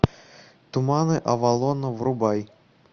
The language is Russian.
туманы авалона врубай